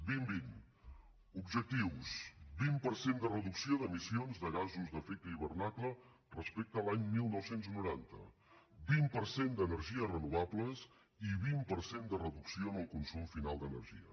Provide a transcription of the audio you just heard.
dos mil vint objectius vint per cent de reducció d’emissions de gasos d’efecte hivernacle respecte a l’any dinou noranta vint per cent d’energies renovables i vint per cent de reducció en el consum final d’energia